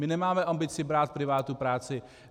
My nemáme ambici brát privátu práci.